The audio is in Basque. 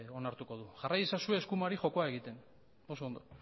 onartuko du jarrai ezazue eskumari jokoa egiten oso ondo